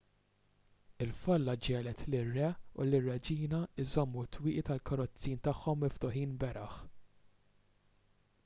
il-folla ġiegħlet lir-re u lir-reġina jżommu t-twieqi tal-karozzin tagħhom miftuħin beraħ